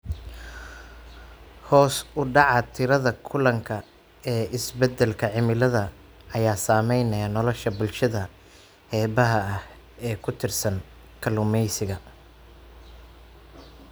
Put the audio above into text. Hoos u dhaca tirada kalluunka ee isbedelka cimilada ayaa saameynaya nolosha bulshada xeebaha ah ee ku tiirsan kalluumeysiga.